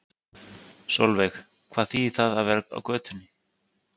Sólveig: Hvað þýðir það að vera á götunni?